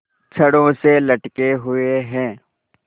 छड़ों से लटके हुए हैं